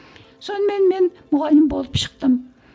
сонымен мен мұғалім болып шықтым